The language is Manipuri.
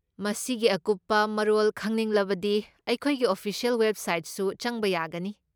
ꯃꯁꯤꯒꯤ ꯑꯀꯨꯞꯄ ꯃꯔꯣꯜ ꯈꯪꯅꯤꯡꯂꯕꯗꯤ ꯑꯩꯈꯣꯏꯒꯤ ꯑꯣꯐꯤꯁꯤꯑꯦꯜ ꯋꯦꯕꯁꯥꯏꯠꯁꯨ ꯆꯪꯕ ꯌꯥꯒꯅꯤ꯫